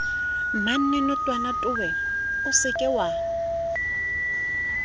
mmamenotwana towe o se ke